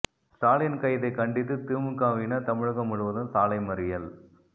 ஸ்டாலின் கைதை கண்டித்து திமுகவினர் தமிழகம் முழுவதும் சாலை மறியல்